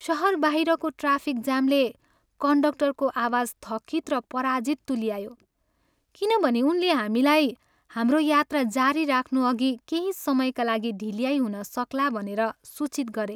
सहर बाहिरको ट्राफिक जामले कन्डक्टरको आवाज थकित र पराजित तुल्यायो किनभने उनले हामीलाई हाम्रो यात्रा जारी राख्नुअघि केही समयका लागि ढिल्याई हुन सक्ला भनेर सूचित गरे।